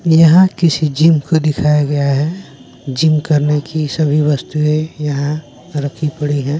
यहां किसी जिम को दिखाया गया है जिम करने की सभी वस्तुएं यहां रखी पड़ी है।